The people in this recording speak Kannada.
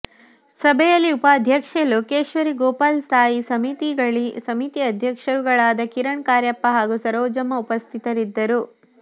ಸಭೆಯಲ್ಲಿ ಉಪಾಧ್ಯಕ್ಷೆ ಲೋಕೇಶ್ವರಿ ಗೋಪಾಲ್ ಸ್ಥಾಯಿ ಸಮಿತಿ ಅಧ್ಯಕ್ಷರುಗಳಾದ ಕಿರಣ್ ಕಾರ್ಯಪ್ಪ ಹಾಗೂ ಸರೋಜಮ್ಮ ಉಪಸ್ಥಿತರಿದ್ದರು